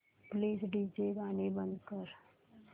please DJ गाणी बंद कर